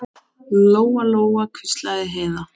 Lóa-Lóa, hvíslaði Heiða.